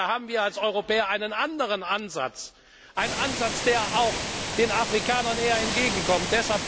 Da haben wir als Europäer einen anderen Ansatz, einen Ansatz, der auch den Afrikanern eher entgegenkommt.